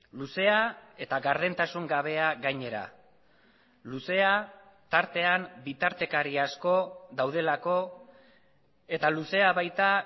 luzea eta gardentasun gabea gainera luzea tartean bitartekari asko daudelako eta luzea baita